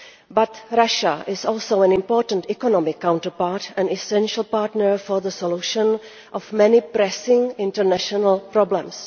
But Russia is also an important economic counterpart and an essential partner for the solution of many pressing international problems.